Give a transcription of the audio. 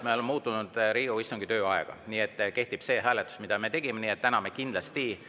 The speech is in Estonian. Me oleme muutnud Riigikogu istungi tööaega, nii et kehtib selle hääletuse, mille me ära tegime.